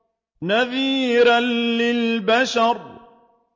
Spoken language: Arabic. نَذِيرًا لِّلْبَشَرِ